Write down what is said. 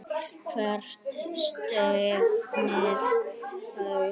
Hvert stefnið þið?